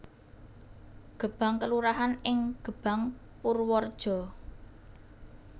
Gebang kelurahan ing Gebang Purwareja